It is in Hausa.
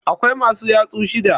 Akwai masu yatsu shida.